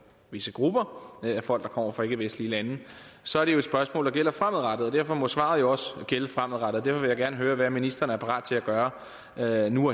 visse grupper af folk der kommer fra ikkevestlige lande så er det jo et spørgsmål der gælder fremadrettet og derfor må svaret jo også gælde fremadrettet derfor vil jeg gerne høre hvad ministeren er parat til at gøre her og nu